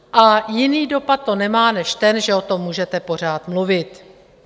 A jiný dopad to nemá než ten, že o tom můžete pořád mluvit.